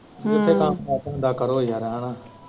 ਜਿੱਥੇ ਕੰਮ set ਹੁੰਦਾ ਕਰੋ ਯਾਰ ਐਂਵੇ।